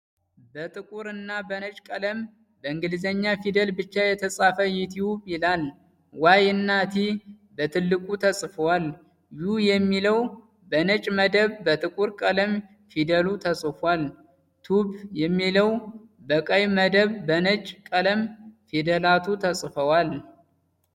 በጥቁር እና በነጭ ቀለም በእንግሊዘኛ ፊደል ብቻ የተፃፈ "ዩቱብ " ይላል። "ዋይ"እና "ቲ" በትልቁ ተፅፈዋል። " ዩ" የሚለዉ በነጭ መደብ በጥቁር ቀለም ፊደሉ ተፅፏል። "ቱብ" የሚለዉ በቀይ መደብ በነጭ ቀለም ፊደላቱ ተፅፈዋል።